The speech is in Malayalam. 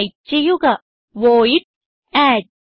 ടൈപ്പ് ചെയ്യുക വോയിഡ് അഡ്